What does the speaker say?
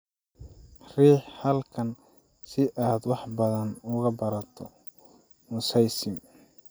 Riix halkan si aad wax badan uga barato mosaicism